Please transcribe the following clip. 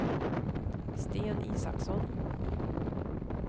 Sten Isaksson